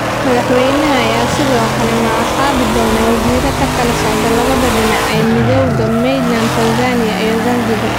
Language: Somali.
Madaxweynaha ayaa sidoo kale magacaabi doona wasiiro ka kala socda labada dhinac ee Midowga, Mainland Tanzania iyo Zanzibar.